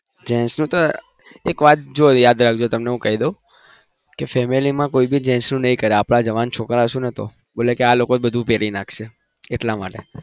gents એક વાત જો યાદ રાખજો હું કઈ દઉં family માં કોઈ gents નું નહિ કરે આપના જવાન છોકરા હશે તો આ લોકો જ કરી નાખશે એટલા માટે